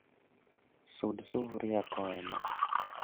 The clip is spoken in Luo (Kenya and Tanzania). Sud sufria koa e mach